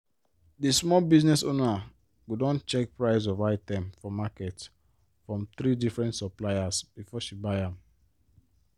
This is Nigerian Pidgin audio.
di small business owner go don check price of item for market from three differnt supplier before she buy am.